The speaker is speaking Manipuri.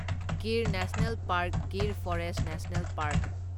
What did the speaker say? Gir national park Gir forest national park